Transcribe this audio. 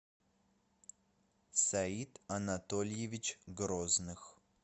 саид анатольевич грозных